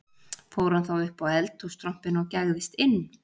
Fór hann þá upp á eldhússtrompinn og gægðist inn